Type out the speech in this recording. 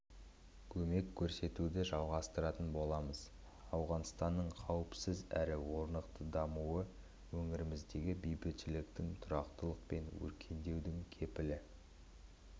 көмек көрсетуді жалғастыратын боламыз ауғанстанның қауіпсіз әрі орнықты дамуы өңіріміздегі бейбітшіліктің тұрақтылық пен өркендеудің кепілі